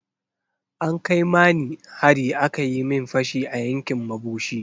An kai mani hari aka yi min fashi a yankin mabushi.